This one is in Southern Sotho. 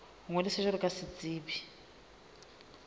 ho ngodisa jwalo ka setsebi